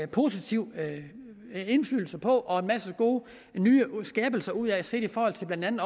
positiv indflydelse på og en masse gode nyskabelser ud er set i forhold til blandt